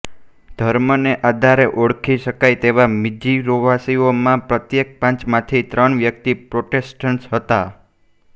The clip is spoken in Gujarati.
ધર્મને આધારે ઓળખી શકાય તેવા મિઝોરીવાસીઓમાં પ્રત્યેક પાંચમાંથી ત્રણ વ્યક્તિ પ્રોટેસ્ટન્ટ હતા